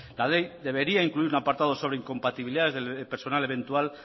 la ley debería incluir un apartado sobre incompatibilidades del personal eventual